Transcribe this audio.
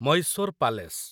Mysore palace